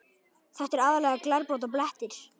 Þetta er aðallega glerbrot og blettir.